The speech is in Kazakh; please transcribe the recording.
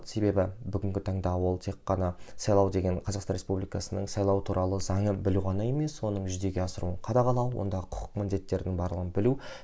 себебі бүгінгі таңда ол тек қана сайлау деген қазақстан республикасының сайлау туралы заңын білу ғана емес соның жүзеге асыруын қадағалау онда құқық міндеттерінің барлығын білу